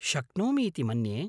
शक्नोमि इति मन्ये।